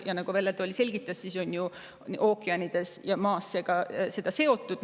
Ja nagu Velle Toll selgitas, on ju ookeanid ja seda sidunud.